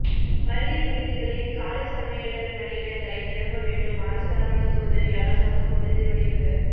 பள்ளி விடுதிகளில் காலி சமையலர் பணியிடங்களை நிரப்ப வேண்டும் அரசு அலுவலக உதவியாளர் சங்க கூட்டத்தில் வலியுறுத்தல்